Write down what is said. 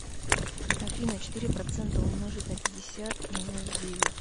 афина четыре процента умножить на пятьдесят и минус девять